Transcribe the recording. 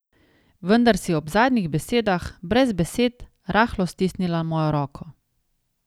Vendar si ob zadnjih besedah, brez besed, rahlo stisnila mojo roko.